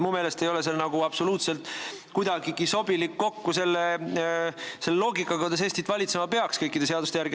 Minu meelest ei sobi see absoluutselt kokku selle loogikaga, kuidas Eestit kõikide seaduste järgi valitsema peaks.